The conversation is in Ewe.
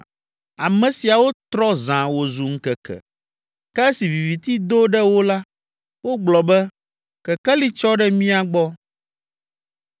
Ame siawo trɔ zã wòzu ŋkeke, ke esi viviti do ɖe wo la, wogblɔ be, ‘Kekeli tsɔ ɖe mía gbɔ’